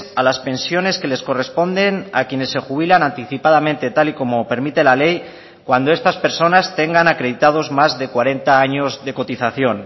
a las pensiones que les corresponden a quienes se jubilan anticipadamente tal y como permite la ley cuando estas personas tengan acreditados más de cuarenta años de cotización